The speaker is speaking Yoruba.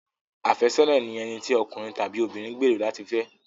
Àfẹ́sọ́nà ni ẹni tí okùnrin tàbí obìnrin gbèrò láti fẹ́.